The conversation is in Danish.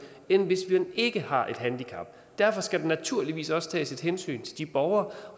end hvis man ikke har et handicap derfor skal der naturligvis også tages hensyn til de borgere